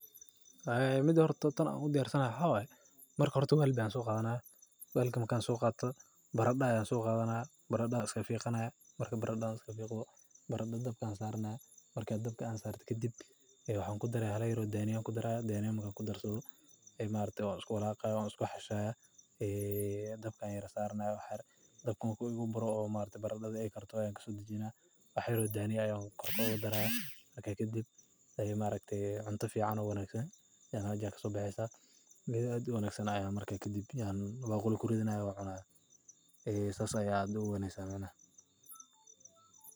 Waxee mid marki hore wel ban soqadanaya bararada ayan soqadhanaya dabka ayan saraya daniya ayannkorka oga daraya marka kadib ayan baquli kuridhanaya oo anncunaya.